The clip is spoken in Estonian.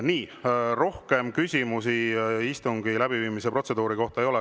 Nii, rohkem küsimusi istungi läbiviimise protseduuri kohta ei ole.